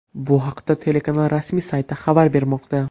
Bu haqda telekanal rasmiy sayti xabar bermoqda .